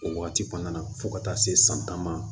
O wagati kɔnɔna na fo ka taa se san tan ma